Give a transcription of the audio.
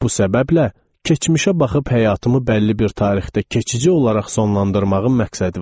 Bu səbəblə, keçmişə baxıb həyatımı bəlli bir tarixdə keçici olaraq sonlandırmağın məqsədi var.